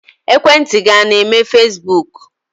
Ekwentị gị a na-eme fesibuuku?